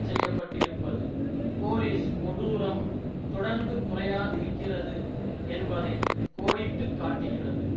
செய்ய பட்டிருப்பது போலீஸ் கொடூரம் தொடர்ந்து குறையாதிருக்கிறது என்பதை கோடிட்டு காட்டுகிறது